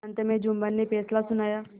अंत में जुम्मन ने फैसला सुनाया